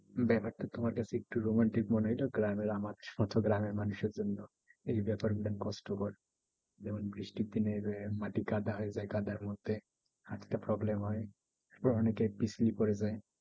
ব্যাপারটা তোমার কাছে একটু romantic মনে হয়তো। গ্রামের মানুষ এর জন্য এই ব্যাপার গুলা কষ্ট কর। যেমন বৃষ্টির দিনে যে মাটি কাদা হয়ে যায়। কাদার মধ্যে হাঁটতে problem হয়। আবার অনেকে পিছলে পরে যায়।